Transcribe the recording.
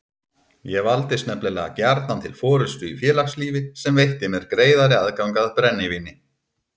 Ég valdist nefnilega gjarnan til forystu í félagslífi sem veitti mér greiðari aðgang að brennivíni.